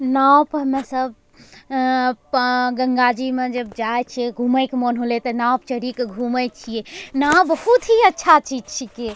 नाव पे हमे सब अं पं गंगा जी म जब जाय छिए घूमे क मोन होले त नाव प चढ़ी क घूमे छिए नाव बहुत ही अच्छा चीज छिके।